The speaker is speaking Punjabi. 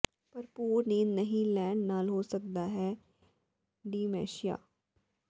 ਭਰਪੂਰ ਨੀਂਦ ਨਹੀਂ ਲੈਣ ਨਾਲ ਹੋ ਸਕਦਾ ਹੈ ਡਿਮੈਂਸ਼ੀਆ